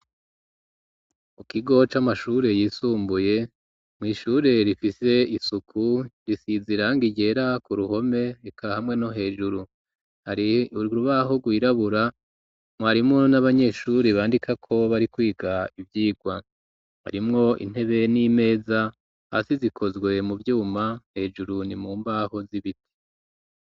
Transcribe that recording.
Mukigo c'amashure yisumbuye mw'ishure rifise isuku risiziranga igera ku ruhome ika hamwe no hejuru hari rubahugirabura mwarimo n'abanyeshuri bandika ko bari kwiga ibyigwa arimwo intebe n'imeza hasi zikozwe mu vyuma hejuru ni mu mbaho z'ibiti.